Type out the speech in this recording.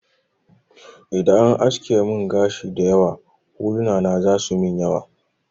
Idan an aske mun gashi dayawa, huluna na za su yimin yawa